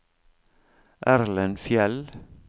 Erlend Fjeld